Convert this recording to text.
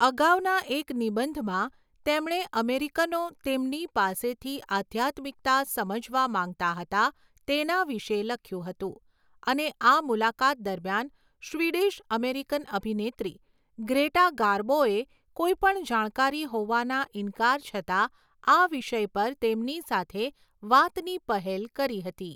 અગાઉના એક નિબંધમાં, તેમણે અમેરિકનો તેમની પાસેથી આધ્યાત્મિકતા સમજવા માંગતા હતા તેના વિશે લખ્યું હતું, અને આ મુલાકાત દરમિયાન, સ્વીડિશ અમેરિકન અભિનેત્રી ગ્રેટા ગાર્બોએ, કોઈ પણ જાણકારી હોવાના ઇન્કાર છતાં આ વિષય પર તેમની સાથે વાતની પહેલ કરી હતી.